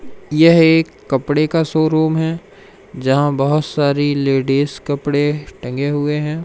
यह एक कपड़े का शोरूम है जहां बहोत सारी लेडिस कपड़े टगे हुए हैं।